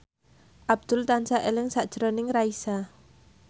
Abdul tansah eling sakjroning Raisa